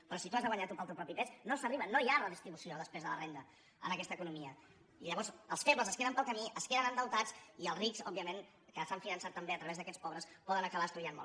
però si t’ho has de guanyar tu pel teu propi pes no s’arriba no hi ha redistribució després de la renda en aquesta economia i llavors els febles es queden pel camí es queden endeutats i els rics òbviament que s’han finançat també a través d’aquests pobres poden acabar estudiant molt